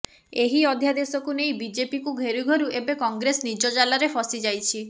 ଏହି ଅଧ୍ୟାଦେଶକୁ ନେଇ ବିଜେପିକୁ ଘେରୁ ଘେରୁ ଏବେ କଂଗ୍ରେସ ନିଜ ଜାଲରେ ଫସି ଯାଇଛି